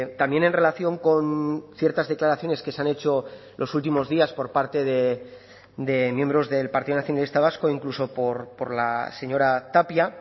también en relación con ciertas declaraciones que se han hecho los últimos días por parte de miembros del partido nacionalista vasco o incluso por la señora tapia